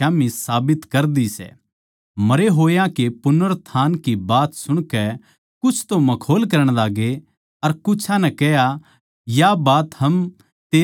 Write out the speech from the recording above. मरे होया के पुनरुत्थान की बात सुणकै कुछ तो मखौल करण लाग्गे अर कुछां नै कह्या या बात हम तेरै तै फेर कदे सुणांगें